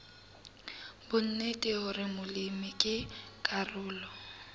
bonnete hore molemi ke karolo